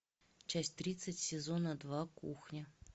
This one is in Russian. часть тридцать сезона два кухня